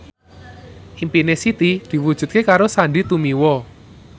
impine Siti diwujudke karo Sandy Tumiwa